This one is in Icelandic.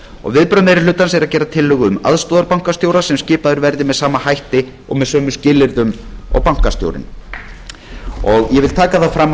og viðbrögð meiri hlutans eru að gera tillögu um aðstoðarbankastjóra sem skipaður verði með sama hætti og sömu skilyrðum og bankastjórinn ég vil taka það fram að